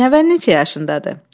Nəvən neçə yaşındadır?